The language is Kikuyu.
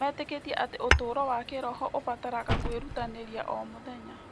Metĩkĩtie atĩ ũtũũro wa kĩĩroho ũbataraga kwĩrutanĩria o mũthenya.